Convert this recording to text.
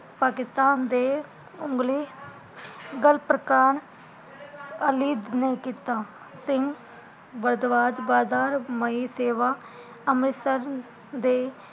ਪਾਕਿਸਤਾਨ ਦੇ ਉਘਲੇ, ਗਲ ਪ੍ਰਕਾਨ ਅਲਿਤ ਨੇ ਕੀਤਾ, ਸਿੰਘ ਭਰਤਵਾਜ ਬਦਾਰਮਈ ਸੇਵਾ ਅਮ੍ਰਿਤਸਰ ਦੇ